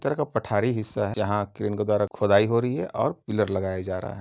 तरह का पठारी हिस्सा यहाँ क्रेन के द्वारा खुदाई हो रही है और पिलर लगाया जा रहा है।